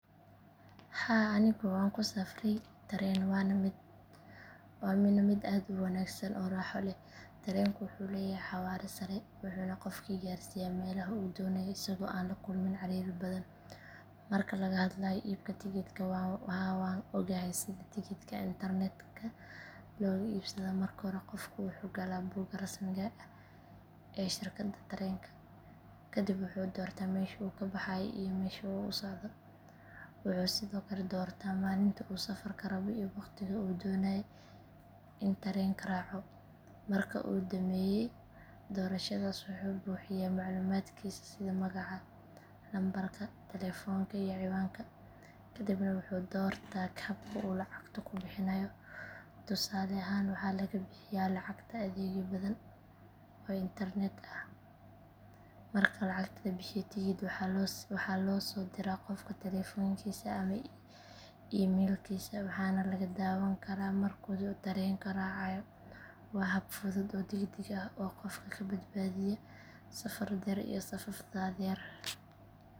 Aniga waxaan ku safray tareen, waana mid aad u wanaagsan oo raaxo leh. Tareenka wuxuu leeyahay xawaare sare, wuxuuna qofka gaarsiiyaa meeshii uu rabo isagoo aan la kulmin ciriiri badan. Marka laga hadlayo iibka tigidhka, haa, waan ogahay sida tigidhka internetka looga iibsado. Marka hore, qofku wuxuu galaa boga rasmiga ah ee shirkadda tareenka, kadibna wuxuu doortaa meesha uu ka baxayo iyo halka uu u socdo. Sidoo kale, wuxuu doortaa maalinta uu rabo in uu safro iyo waqtiga uu doonayo in uu raaco tareenka. Markuu dhammeeyo doorashadaas, wuxuu buuxiyaa macluumaadkiisa sida magaca, lambarka taleefanka, iyo ciwaanka emailka. Kadib wuxuu doortaa habka uu lacagta ku bixinayo. Tusaale ahaan, waxaa la isticmaalaa adeegyo badan oo internet-ka ah . Marka lacagta la bixiyo, tigidhka waxaa loo soo diraa qofka taleefankiisa ama emailkiisa, waxaana laga daawan karaa marka uu tareenka raacayo. Waa hab fudud oo degdeg ah oo qofka ka badbaadiya safaf dhaadheer.